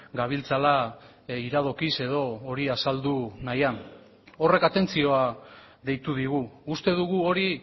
gabiltzala iradokiz edo hori azaldu nahian horrek atentzioa deitu digu uste dugu hori